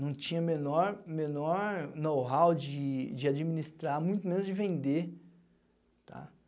Não tinha menor menor know-how de de administrar, muito menos de vender, tá?